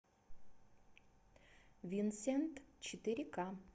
винсент четыре ка